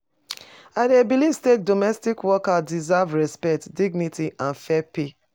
I dey believe say domestic workers deserve respect, dignity and fair pay.